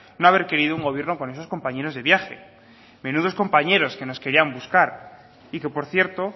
no haber querido un gobierno con esos compañeros de viaje menudos compañeros que nos querían buscar y que por cierto